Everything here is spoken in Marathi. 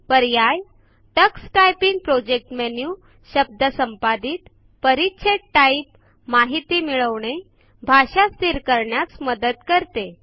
पर्याय टक्स टायपिंग प्रोजेक्ट मेनू शब्द संपादित परीछेद टाइप माहिती मिळविणे भाषा स्थिर करण्यास मदत करते